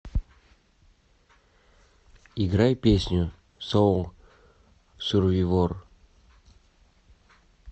играй песню соул сурвивор